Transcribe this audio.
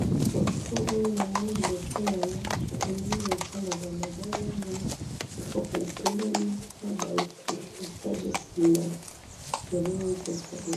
photo oyo namoni liboso nangai, namoni eza balabala, mutuka etelemi, naba etages esima